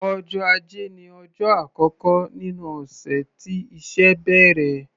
Ọjọ́ Ajé ní ọjọ́ àkọ́kọ́ nínú ọ̀sẹ̀ tí iṣẹ́ bẹ̀rẹ̀.